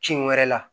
Cin wɛrɛ la